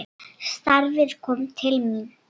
Starfið kom til mín!